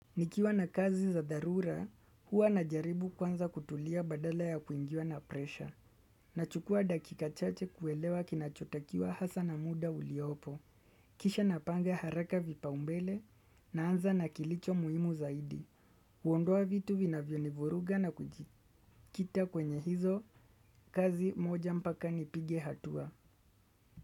Nikiwa na kazi za dharura, huwa na jaribu kwanza kutulia badala ya kuingiwa na presha. Nachukua dakika chache kuelewa kinachotakiwa hasa na muda uliopo. Kisha napanga haraka vipa umbele na anza na kilicho muimu zaidi. Uondoa vitu vina vionivuruga na kujikita kwenye hizo, kazi moja mpaka ni pige hatua.